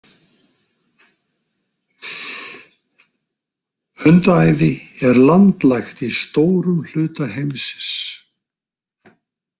Hundaæði er landlægt í stórum hluta heimsins.